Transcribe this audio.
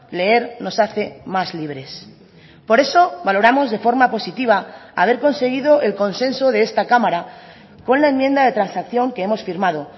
leer nos hace más libres por eso valoramos de forma positiva haber conseguido el consenso de esta cámara con la enmienda de transacción que hemos firmado